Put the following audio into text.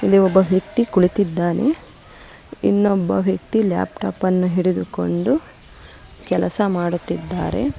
ಇಲ್ಲಿ ಒಬ್ಬ ವ್ಯಕ್ತಿ ಕುಳಿತಿದ್ದಾನೆ ಇನ್ನೊಬ್ಬ ವ್ಯಕ್ತಿ ಲ್ಯಾಪ್ಟಾಪ್ ಅನ್ನ ಹಿಡಿದುಕೊಂಡು ಕೆಲಸ ಮಾಡುತ್ತಿದ್ದಾರೆ.